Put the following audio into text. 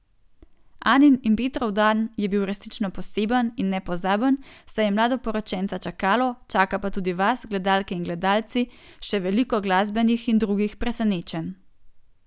Anin in Petrov dan je bil resnično poseben in nepozaben, saj je mladoporočenca čakalo, čaka pa tudi vas, gledalke in gledalci, še veliko, glasbenih in drugih, presenečenj.